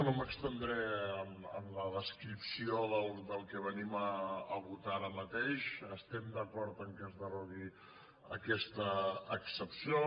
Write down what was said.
no m’estendré en la descripció del que ve·nim a votar ara mateix estem d’acord que es derogui aquesta excepció